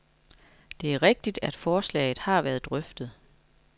Det er rigtigt, at forslaget har været drøftet.